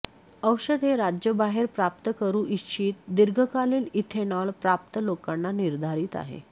औषध हे राज्य बाहेर प्राप्त करू इच्छित दीर्घकालीन इथेनॉल प्राप्त लोकांना निर्धारित आहे